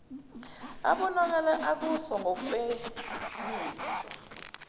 abonakala ekuso ngokwemizwa